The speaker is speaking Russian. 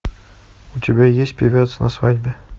у тебя есть певец на свадьбе